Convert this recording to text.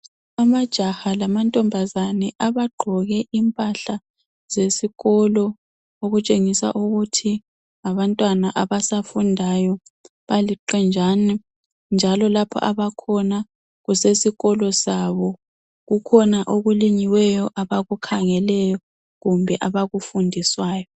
Amajaha lamantombazane abagqoke impahla zesikolo okutshengisa ukuthi ngabantwana abasafundayo baliqenjana njalo lapho abakhona kusesikolo sabo. Kukhona okulinyiweyo abakukhangelayo kumbe abakufundiswayo.